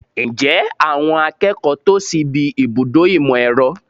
Ǹjẹ́ àwọn akẹ́kọ̀ọ́ tò síbi ibùdó ìmọ̀ - ẹ̀rọ?